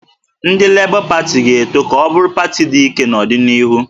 Ndị Lebọ Pati ga-eto ka ọ bụrụ pati dị ike n'ọdịnihu